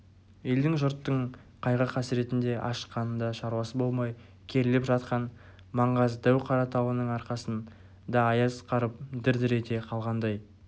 елдің жұрттың қайғы-қасіретінде ашыққанында шаруасы болмай керіліп жатқан маңғаз дәу-қара тауының арқасын да аяз қарып дір-дір ете қалғандай